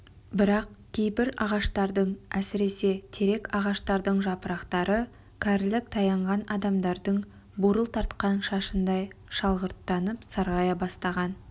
бірақ кейбір ағаштардың әсіресе терек ағаштардың жапырақтары кәрілік таянған адамдардың бурыл тартқан шашындай шалғырттанып сарғая бастаған